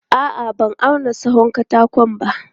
A'a, ban auna tsawon katakon ba.